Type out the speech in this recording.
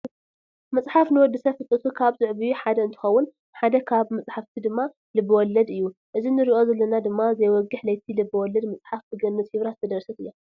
መፅሓፍ ንወዲ ሰብ ፍልጠቱ ካብ ዝዕብዩ ሓደ እንትከውን ሓደ ካብ መፃሕፍቲ ድማ ልበወለድ እዩ። እዚ ንርኦ ዘለና ድማ ዘይወግሕ ለይቲ ልበ ወለድ መፅሓፍ ብገነት ይብራህ ዝተደረሰት እያ።